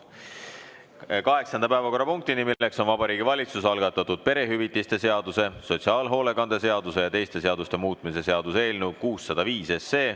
See on Vabariigi Valitsuse algatatud perehüvitiste seaduse, sotsiaalhoolekande seaduse ja teiste seaduste muutmise seaduse eelnõu 605.